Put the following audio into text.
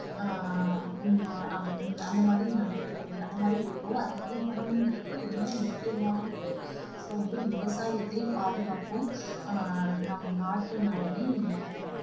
அஹ் ஹம் அஹ் அந்த மாதிரி நினைக்கிற~ அந்த மாதிரி இருக்கோ அது மாதிரி உணவுங்கறது ரொம்ப முக்கியமான இது so வந்து விவசாயத்தை பாதுகாப்போம் ஆஹ் நம் நாட்டு நலனை